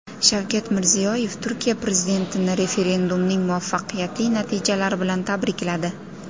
Shavkat Mirziyoyev Turkiya prezidentini referendumning muvaffaqiyatli natijalari bilan tabrikladi.